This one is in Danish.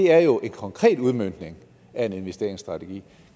er jo en konkret udmøntning af en investeringsstrategi